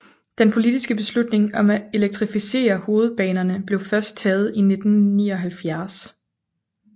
Den politiske beslutning om at elektrificere hovedbanerne blev først taget i 1979